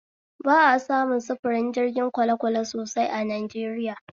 Ba a samu sufurin jirgin kwalekwale sosai a Najeriya